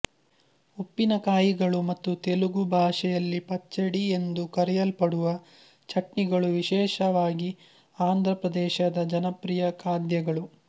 ಉಪ್ಪಿನಕಾಯಿಗಳು ಮತ್ತು ತೆಲುಗು ಭಾಷೆಯಲ್ಲಿ ಪಚ್ಚಡಿ ಎಂದು ಕರೆಯಲ್ಪಡುವ ಚಟ್ನಿಗಳು ವಿಶೇಷವಾಗಿ ಆಂಧ್ರ ಪ್ರದೇಶದ ಜನಪ್ರಿಯ ಖಾದ್ಯಗಳು